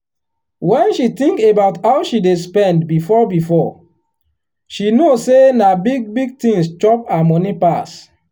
when she think about how she dey spend before before she know say na big big things chop her money pass.